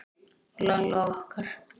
Lalla okkar.